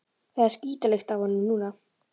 Það er skítalykt af honum núna.